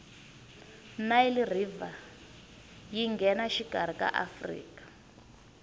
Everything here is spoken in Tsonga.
nile river yingenashikarhi ka afrika